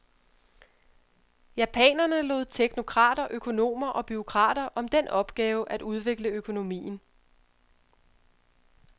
Japanerne lod teknokrater, økonomer og bureaukrater om den opgave at udvikle økonomien.